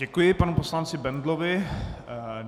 Děkuji panu poslanci Bendlovi.